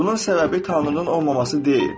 Bunun səbəbi Tanrının olmaması deyil.